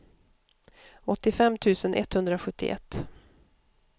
åttiofem tusen etthundrasjuttioett